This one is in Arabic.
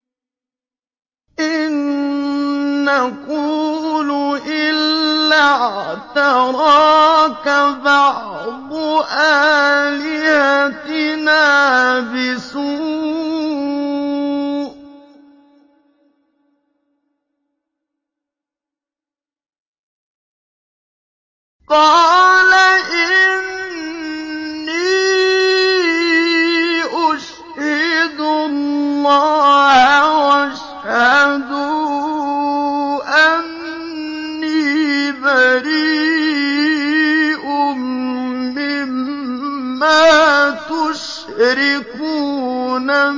إِن نَّقُولُ إِلَّا اعْتَرَاكَ بَعْضُ آلِهَتِنَا بِسُوءٍ ۗ قَالَ إِنِّي أُشْهِدُ اللَّهَ وَاشْهَدُوا أَنِّي بَرِيءٌ مِّمَّا تُشْرِكُونَ